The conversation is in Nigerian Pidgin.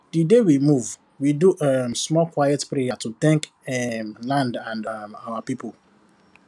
the day we move we do um small quiet prayer to thank um land and um our people